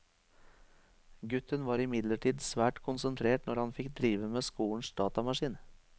Gutten var imidlertid svært konsentrert når han fikk drive med skolens datamaskin.